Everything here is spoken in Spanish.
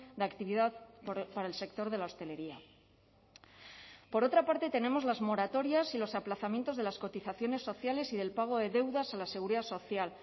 de actividad para el sector de la hostelería por otra parte tenemos las moratorias y los aplazamientos de las cotizaciones sociales y del pago de deudas a la seguridad social